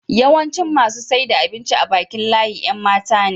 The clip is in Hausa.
yawancin masu saida abinci a Bakin layin Yan matane